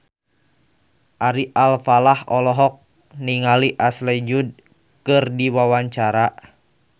Ari Alfalah olohok ningali Ashley Judd keur diwawancara